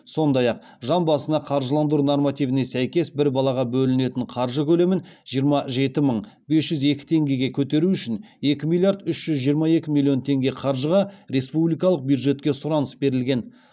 сондай ақ жан басына қаржыландыру нормативіне сәйкес бір балаға бөлінетін қаржы көлемін жиырма жеті мың бес жүз екі теңгеге көтеру үшін екі миллиард үш жүз жиырма екі миллион теңге қаржыға республикалық бюджетке сұраныс берілген